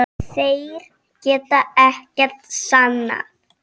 Þeir geta ekkert sannað.